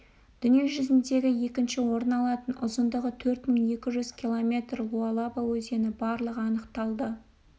дүние жүзінде екінші орын алатын ұзындығы төрт мың екі жүз километр луалаба өзені барлығы анықталды